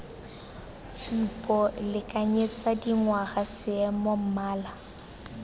tshupo lekanyetsa dingwaga seemo mmala